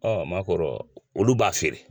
Ɔ o ma k'o rɔ olu b'a feere.